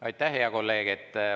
Aitäh, hea kolleeg!